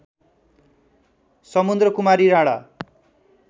Samudrakumari Rana